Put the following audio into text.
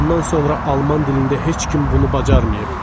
ondan sonra alman dilində heç kim bunu bacarmayıb.